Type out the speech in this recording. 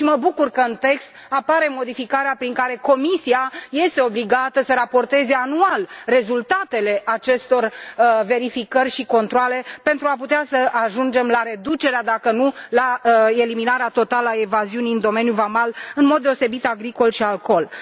Mă bucur că, în text, apare modificarea prin care Comisia este obligată să raporteze anual rezultatele acestor verificări și controale pentru a putea să ajungem la reducerea, dacă nu la eliminarea totală, a evaziunii în domeniul vamal, în mod deosebit în privința agriculturii și alcoolului.